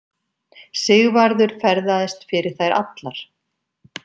Sigvarður ferðaðist fyrir þær allar.